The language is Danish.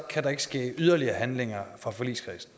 kan der ikke ske yderligere handlinger fra forligskredsens